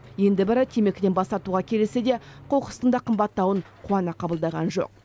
енді бірі темекіден бас тартуға келіссе де қоқыстың да қымбаттауын қуана қабылдаған жоқ